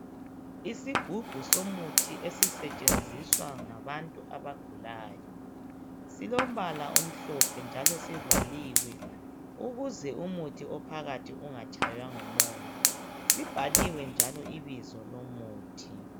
isigubhu somuthi esisetshenziswa ngabantu abagulayo silombala omhlophe njalo sivaliwe ukuze umuthi ophakathi ungatshaywa ngumoya sibhaliwe njalo ibizo lomuthi